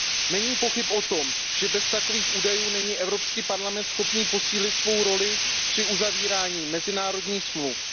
Není pochyb o tom, že bez takových údajů není Evropský parlament schopný posílit svou roli při uzavíraní mezinárodních dohod.